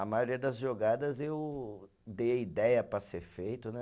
A maioria das jogadas eu dei a ideia para ser feito, né?